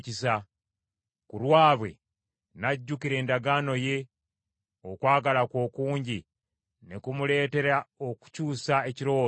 ku lwabwe, n’ajjukira endagaano ye; okwagala kwe okungi ne kumuleetera okukyusa ekirowoozo kye.